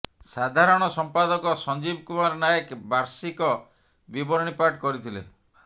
ସାଧାରଣ ସମ୍ପାଦକ ସଞ୍ଜୀବ କୁମାର ନାଏକ ବାଷିକ ବିବରଣୀ ପାଠ କରିଥିଲେ